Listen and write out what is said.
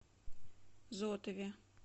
зотове